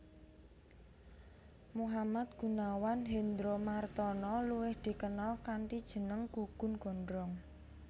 Muhammad Gunawan Hendromartono luwih dikenal kanthi jeneng Gugun Gondrong